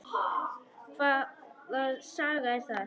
Hvaða saga er það?